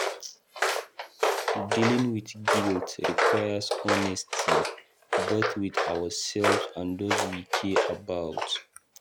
Dealing with guilt requires honesty, both with ourselves and those wey we care about.